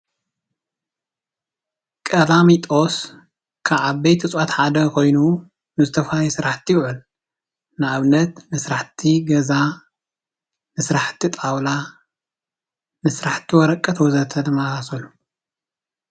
ቀላሚጦስ ካብ ዓበይቲ እፅዋት ሓደ ኮይኑ ንዝተፈላለዩ ስራሕቲ ይውዕል:: ንኣብነት ንስራሕቲ ገዛ፣ ንስራሕቲ ጣውላ፣ ንስራሕቲ ወረቀት ወዘተ ድማ ይኮን።